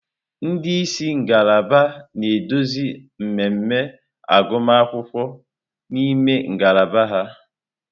Ndị isi ngalaba na-eduzi mmemme agụmakwụkwọ n'ime ngalaba ha.